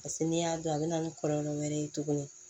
Paseke n'i y'a dɔn a bɛ na ni kɔlɔlɔ wɛrɛ ye tuguni